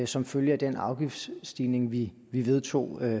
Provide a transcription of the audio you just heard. som følge af den afgiftsstigning vi vedtog